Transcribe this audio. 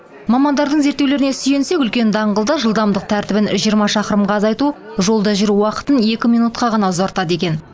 мамандардың зерттеулеріне сүйенсек үлкен даңғылда жылдамдық тәртібін жиырма шақырымға азайту жолда жүру уақытын екі минутқа ғана ұзартады екен